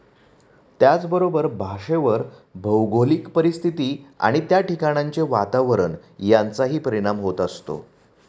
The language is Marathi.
त्याचबरोबर भाषेवर भौगोलिक परिस्थिती व त्या ठिकाणांचे वातावरण यांचाही परिणाम होत असतो.